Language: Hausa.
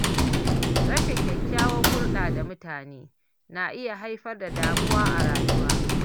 Rashin kyakkyawar hulɗa da mutane na iya haifar da damuwa a rayuwa.